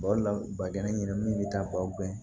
o de la bagɛnin bɛ taa baw kɛ